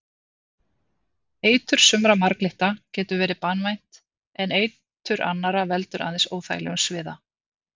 Eitur sumra marglytta getur verið banvænt en eitur annarra veldur aðeins óþægilegum sviða.